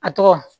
A tɔgɔ